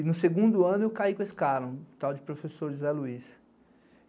E no segundo ano eu caí com esse cara, o tal de professor José Luiz.